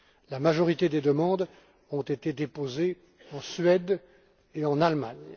La majorité des demandes ont été déposées en Suède et en Allemagne.